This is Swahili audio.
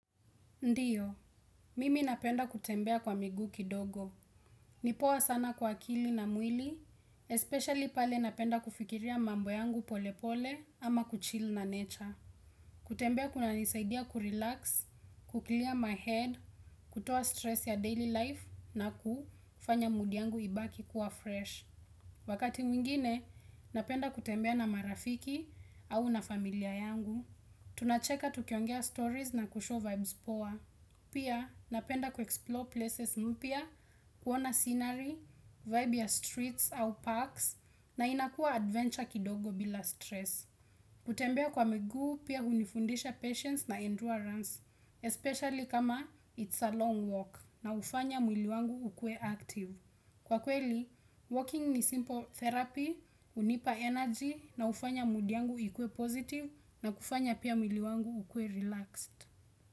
Ndiyo, mimi napenda kutembea kwa miguu kidogo. Nipoa sana kwa akili na mwili, especially pale napenda kufikiria mambo yangu pole pole ama kuchill na nature. Kutembea kuna nisaidia kurelax, kuclear my head, kutoa stress ya daily life na kufanya mood yangu ibaki kuwa fresh. Wakati mwingine, napenda kutembea na marafiki au na familia yangu. Tunacheka tukiongea stories na kushow vibes poa. Pia napenda kuexplore places mpya, kuona scenery, vibe ya streets au parks na inakua adventure kidogo bila stress. Kutembea kwa miguu pia hunifundisha patience na endurance, especially kama it's a long walk na hufanya mwili wangu ukue active. Kwa kweli, walking ni simple therapy, hunipa energy na hufanya mood yangu ikue positive na kufanya pia mwili wangu ukue relaxed.